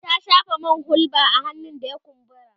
ta shafa man hulba a hannun da ya kumbura